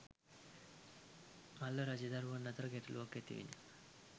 මල්ල රජදරුවන් අතර ගැටලුවක් ඇතිවිණි.